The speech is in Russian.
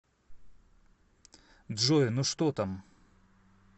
джой ну что там